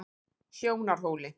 Sjónarhóli